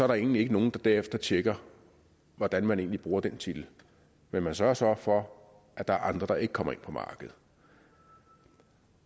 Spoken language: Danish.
der egentlig ikke nogen der derefter tjekker hvordan man bruger den titel men man sørger så for at der er andre der ikke kommer ind på markedet